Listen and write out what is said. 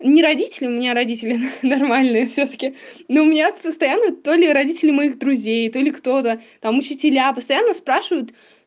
не родители у меня родители нормальные всё таки но у меня постоянно то ли родители моих друзей то ли кто-то там учителя постоянно спрашивают